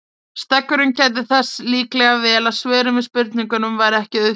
Steggurinn gætti þess líklega vel að svörin við spurningunum væru ekki auðfundin.